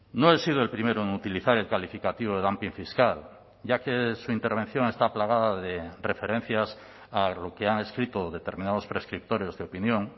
no he sido el primero en utilizar el calificativo de dumping fiscal ya que su intervención está plagada de referencias a lo que han escrito determinados prescriptores de opinión